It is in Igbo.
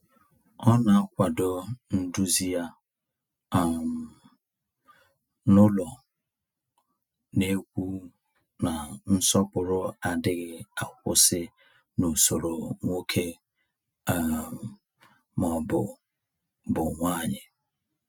Ọ na-akwado nduzi ya um n’ụlọ, na-ekwu na nsọpụrụ adịghị akwụsị n’usoro nwoke um ma ọ bụ bụ nwanyị.